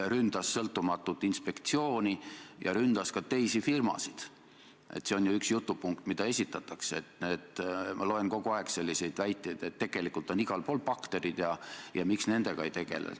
Sina otsustasid taganeda ühest väärtusest, milleks on sõnapidamine, ja toimida vastupidiselt sellele, mida sa enne valimisi lubasid, et sa ei too äärmuslikke jõude Vabariigi Valitsusse ja ei moodusta nendega koalitsiooni.